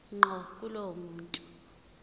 ngqo kulowo muntu